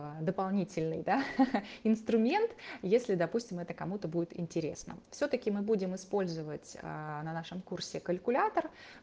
дополнительный да ха-ха инструмент если допустим это кому-то будет интересно всё-таки мы будем использовать на нашем курсе калькулятор